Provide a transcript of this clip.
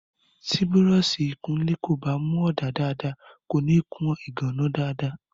Tí búrọ́ọ̀sì ìkunlé kò bá mu ọ̀dà dáadáa, kòní kun ìgànná dáadáa.